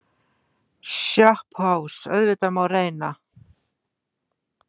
SOPHUS: Auðvitað má reyna.